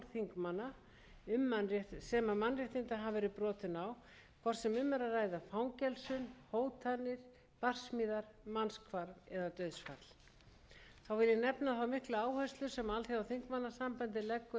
í umræðum og fjölmiðlum ég vil taka fram hæstvirtur forseti að norrænt samstarf er mjög sterkt innan ipu